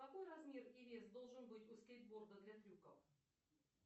какой размер и вес должен быть у скейтборда для трюков